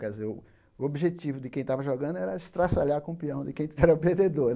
Quer dizer, o o objetivo de quem estava jogando era estraçalhar com o pião de quem era o perdedor.